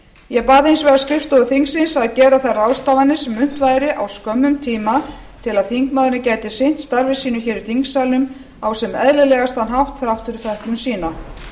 ég bað hins vegar skrifstofu þingsins að gera þær ráðstafanir sem unnt væri á skömmum tíma til að þingmaðurinn gæti sinnt störfum sínum í þingsalnum á sem eðlilegastan hátt þrátt fyrir fötlun sína